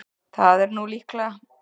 Það er nú líklega.